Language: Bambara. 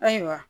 Ayiwa